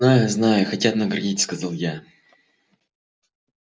знаю знаю хотят наградить сказал я